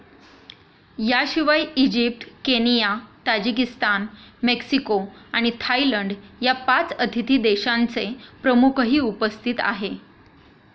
याशिवाय Egypt, Kenya, Tajikistan, Mexico आणि Thailand या पाच अतिथी देशांचे प्रमुखही उपस्थित आहे.